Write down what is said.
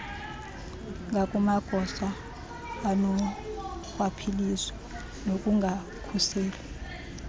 ngakumagosa anorhwaphilizo nokungakhuseli